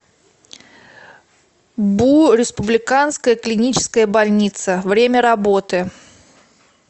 бу республиканская клиническая больница время работы